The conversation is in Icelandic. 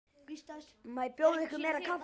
Má bjóða ykkur meira kaffi?